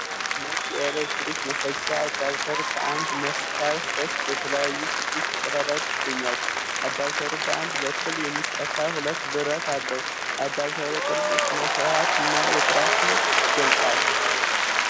ነጭ የኤሌክትሪክ መሰኪያ (አዳፕተር) ፤ ከአንድ መሰኪያ ሦስት የተለያዩ ስድስት ቀዳዳዎች ይገኛሉ። አዳፕተሩ በአንድ በኩል የሚሰካ ሁለት ብረት አለው። የአዳፕተሩ ቅርጽ ሥርዓትንና የጥራትን ይገልፃል።